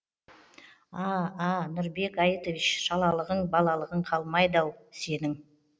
а а нұрбек айтович шалалығың балалығың қаламайды ау сенің